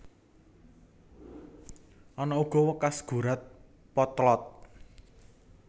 Ana uga wekas gurat potlot